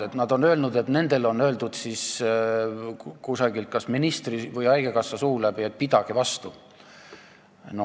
Need arstid on öelnud, et nendele on kas ministri või haigekassa suu läbi öeldud, et pidage vastu.